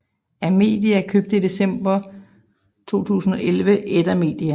Amedia købte i december 2011 Edda Media